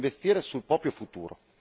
Punta a investire sul proprio futuro.